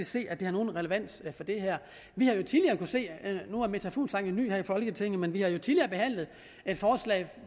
se at det har nogen relevans for det her fru meta fuglsang er jo ny her i folketinget men vi har jo tidligere behandlet forslag